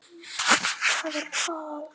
Hvað er kol?